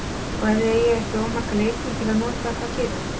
Og ef þið eigið ekki of marga leikmenn til að nota, hvað gerið þið?